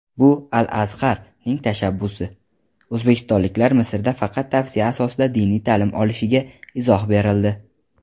"Bu – "Al-Azhar"ning tashabbusi" - o‘zbekistonliklar Misrda faqat tavsiya asosida diniy ta’lim olishiga izoh berildi.